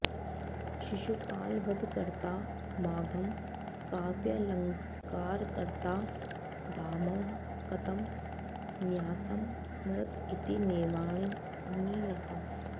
शिशुपालवधकर्ता माघः काव्यालङ्कारकर्ता भामह कतमं न्यासं स्मरत इति नैवानिणतम्